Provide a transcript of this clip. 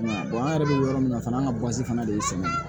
an yɛrɛ bɛ yɔrɔ min na fana an ka fana de ye sɛnɛ ye